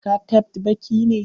Ka tabbt baki ne!